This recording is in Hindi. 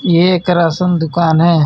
यह एक रासन दुकान है.